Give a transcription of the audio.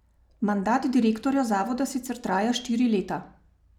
Mandat direktorja zavoda sicer traja štiri leta.